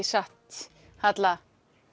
satt Halla